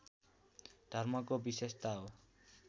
धर्मको विशेषता हो